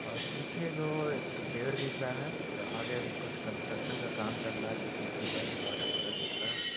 और पीछे जो एक पेड़ दिख रहा हैं और आगे कुछ कंट्रकशन का काम चल रहा हैं जिसमे पिलर रड वगेरा दिख रहा हैं।